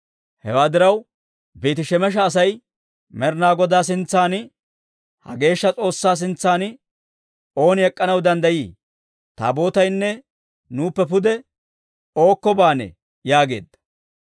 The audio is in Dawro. Hewaa diraw, Beeti-Shemesha asay, «Med'inaa Godaa sintsan, ha geeshsha S'oossaa sintsan ooni ek'k'anaw danddayii? Taabootaynne nuuppe pude ookko baanee?» yaageedda.